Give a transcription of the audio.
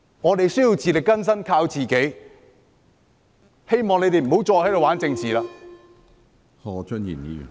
我們需要自力更生，要靠自己，希望他們不要再在這裏玩弄政治。